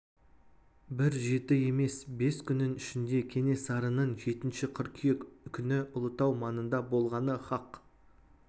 бір жеті емес бес күннің ішінде кенесарының жетінші қыркүйек күні ұлытау маңында болғаны хақ